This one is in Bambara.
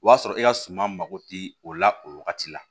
O y'a sɔrɔ e ka suma mako ti o la o wagati la